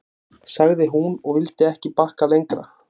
sagði hún, og vildi ekki bakka lengra.